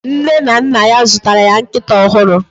Nne na nna ya zụtara ya nkịta ọhụrụ